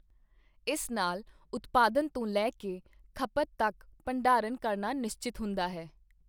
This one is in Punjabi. ਇਸ ਨਾਲ ਉਤਪਾਦਨ ਤੋਂ ਲੈ ਕੇ ਖਪਤ ਤੱਕ ਭੰਡਾਰਣ ਕਰਨਾ ਨਿਸ਼ਚਤ ਹੁੰਦਾ ਹੈ।